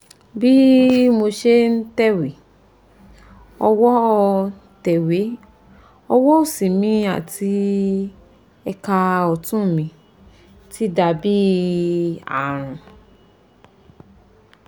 bí mo ṣe ń tẹ̀wé ọwọ́ tẹ̀wé ọwọ́ òsì mi àti ẹ̀ka ọ̀tún mi ti dà bí ààrùn